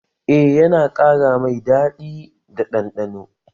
Eh, yana ƙara mai daɗi da ɗanɗano